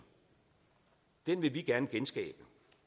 den vil vi gerne genskabe